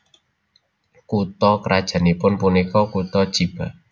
Kutha krajannipun punika kutha Chiba